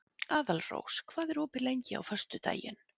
Aðalrós, hvað er opið lengi á föstudaginn?